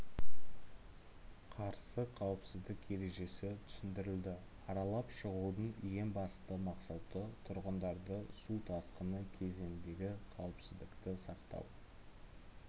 қарсы қауіпсіздік ережесі түсіндірілді аралап шығудың ең басты мақсаты тұрғындарды су тасқыны кезіндегі қауіпсіздікті сақтау